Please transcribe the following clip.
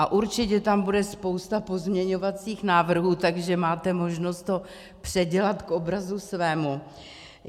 A určitě tam bude spousta pozměňovacích návrhů, takže máte možnost to předělat k obrazu svému.